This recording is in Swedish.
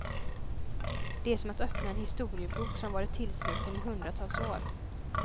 Det är som att öppna en historiebok, som varit tillsluten i hundratals år.